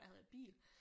Der havde jeg bil